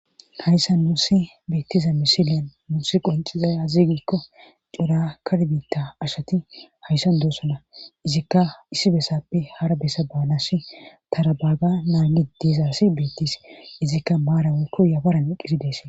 Hayssa nuussi beettiza misiliyan muussi qoncizaya aziigikko cora karbiitta ashati hayssan doossona izikka issi bessappe hara bessa baanasi tarabaaga naagi deezasi beettis izikka maara weykko yafaran eqqisidees.